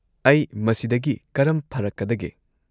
ꯑꯩ ꯃꯁꯤꯗꯒꯤ ꯀꯔꯝ ꯐꯔꯛꯀꯗꯒꯦ?